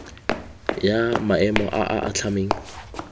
ya maemo a a atlhameng